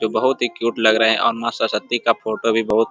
जो बहुत ही क्यूट लग रहा है और माँ शक्ति का फोटो भी बहुत --